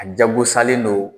A jagosalen don